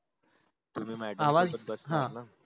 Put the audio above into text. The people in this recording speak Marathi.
तुम्ही madam आवाज सोबत बसणार न?